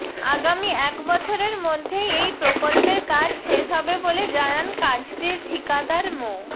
আগামী এক বছরের মধ্যেই এই প্রকল্পের কাজ শেষ হবে বলে জানান কাজটির ঠিকাদার মো